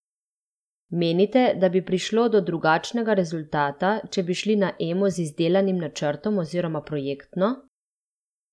Menite, da bi prišlo do drugačnega rezultata, če bi šli na Emo z izdelanim načrtom oziroma projektno?